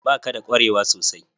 Ba ka da kwarewa sosai?